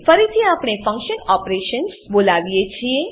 ફરીથી આપણે function operations function operations બોલાવીએ છીએ